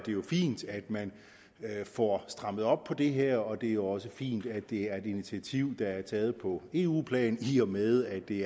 jo fint at man får strammet op på det her og det er også fint at det er et initiativ der er taget på eu plan i og med at det